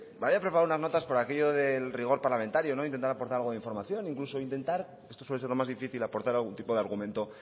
me había preparado unas notas por aquello del rigor parlamentario intentando aportar algo de información incluso intentar esto suele ser lo más difícil aportar algún tipo de argumento